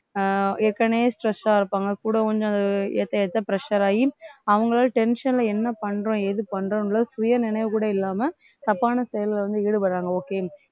அஹ் ஏற்கனவே stress ஆ இருப்பாங்க கூட கொஞ்சம் அது ஏத்த ஏத்த pressure ஆகி அவுங்களும் tension ல என்ன பண்றோம் ஏது பண்றோம்ன்றதை சுய நினைவு கூட இல்லாம தப்பான செயல்ல வந்து ஈடுபடுறாங்க okay